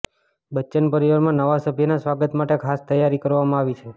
બચ્ચન પરિવારમાં નવા સભ્યના સ્વાગત માટે ખાસ તૈયારી કરવામાં આવી છે